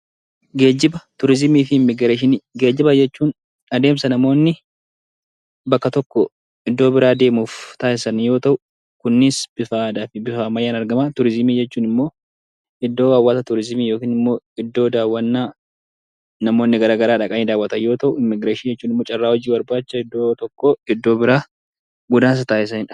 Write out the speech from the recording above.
Geejiba Turizimii fi immigireeshinii Geejiba jechuun adeemsa namoonni bakka tokkoo iddoo biraa deemuuf taassisan Yoo ta'u, kunniinis bifa aadaa fi bifa ammayyaan argaman Turizimii jechuun immoo iddoo hawwata turizimii Iddoo daawwannaa namoonni garagaraa dhaqanii daawwatan Yoo ta'u, Immigireeshinii jechuun ammoo hojii barbaacha iddoo tokkoo iddoo biraa godaansa taassisanidha.